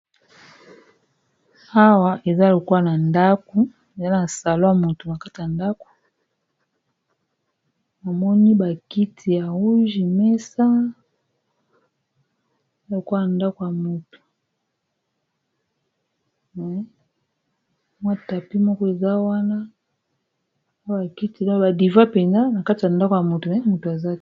Awa eza lokola na ndako eza na salon ya mutu nakati ya ndako, momoni ba kiti ya rouge, mesa, tapi moko eza wana awa bakiti ba diva penza nakati ya ndako ya mutu.